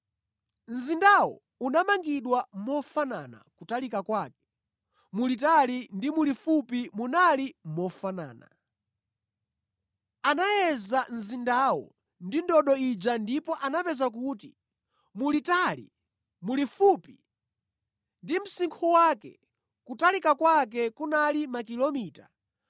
Mzindawo unamangidwa mofanana kutalika kwake, mulitali ndi mulifupi munali mofanana. Anayeza mzindawo ndi ndodo ija ndipo anapeza kuti mulitali, mulifupi ndi msinkhu wake kutalika kwake kunali makilomita 2,200.